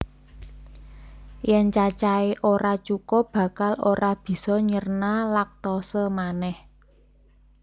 Yèn cacahé ora cukup bakal ora bisa nyerna lactose manèh